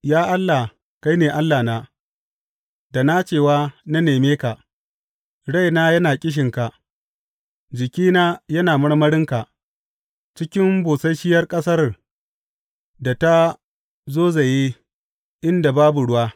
Ya Allah, kai ne Allahna, da nacewa na neme ka; raina yana ƙishinka, jikina yana marmarinka, cikin busasshiyar ƙasar da ta zozaye inda babu ruwa.